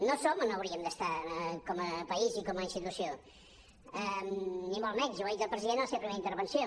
no som on hauríem d’estar com a país i com a institució ni molt menys i ho ha dit el president a la seva primera intervenció